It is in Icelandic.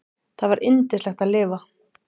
Það var yndislegt að lifa.